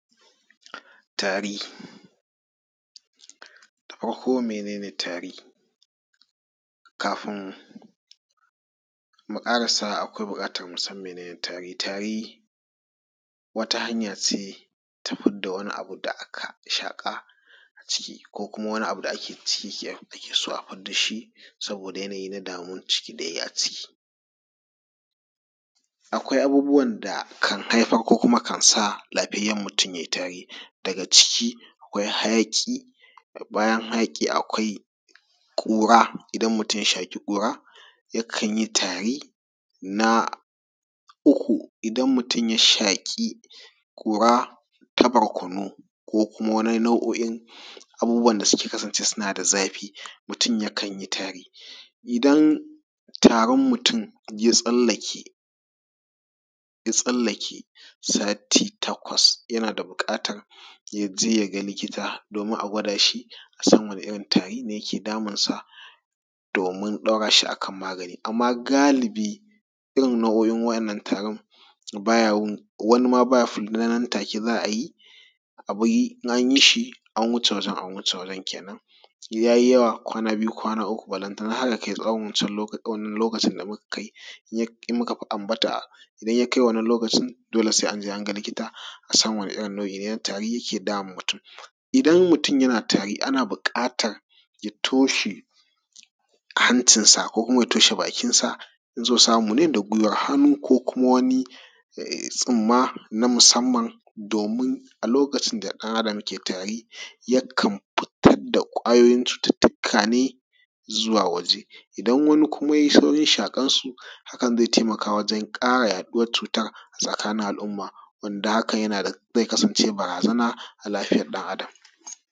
Tari. Da farko mene ne tari? Kafin mu ƙarasa akwai buƙatan mu san mene ne tari, tari wata hanya ce ta fidda wani abu da aka shaƙa a ciki, ko wani abu da ake ci ake so a fidda shi saboda yanayi na damuwan ciki da yayi a ciki. Akwai abubuwan da kan haifar ko kuma kan sa lafiyayyan mutum ya yi tari. Daga ciki akwai hayaƙi, bayan hayaƙi akwai ƙura, idan mutun ya shaƙi ƙura ya kan yi tari, na uku idan mutuun ya shaƙi ƙura ta barkono ko kuma wani na nau'oin abubuwan da suka kasance suna da zafi, mutun ya kanyi tari. Idan tarin mutun ya tsalake sati takwas yana da buƙatar ya je ya ga likita domin a gwada shi a san wane irin tari ne ke damunsa domin ɗaura shi a kan magani. Amma galibi irin nau'oin wa’innan tarin baya wani ma baya farga nan take za a yi, in anyi shi an wuce wajan an wuce wajan kenan, in yayi yawa kwana biyu, kwana uku, balantana har yakai tsawan wancan lokacin da muka ambata, idan ya kai wannan lokacin dole sai an je an ga likita a san wane irin nau'i ne na tari yake damun mutun. Idan mutun yana tari ana buƙatar ya toshe hancinsa ko kuma ya toshe bakinsa, in so samune da guiwar hannu ko kuma wani tsumma na musanman domin a lokacin da ɗan Adam ke tari yana fitar da ƙwayoyin cututuka ne zuwa waje. Idan wani kuma ya shaƙe su haka zai taimaka wajan ƙara yaɗuwan cutar a tsakanin al'umma wanda hakan zai kasance barazana a lafiyar ɗan Adam.